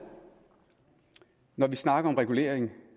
når vi snakker om regulering